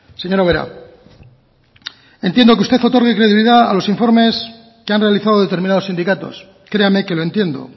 señora ubera entiendo que usted otorgue credibilidad a los informes que han realizado determinados sindicatos créame que lo entiendo